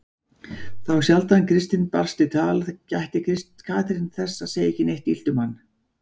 Þá sjaldan Kristinn barst í tal gætti Katrín þess að segja ekkert illt um hann.